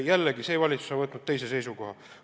Jällegi, see valitsus on võtnud teise seisukoha.